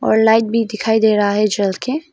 और लाइट भी दिखाई दे रहा है जल के।